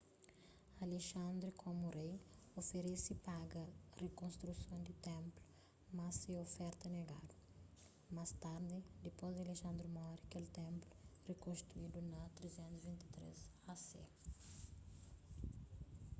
alexandre komu rei oferese paga pa rikonstruson di ténplu mas se oferta negadu más tardi dipôs di alexandre mori kel ténplu rikonstruidu na 323 a.c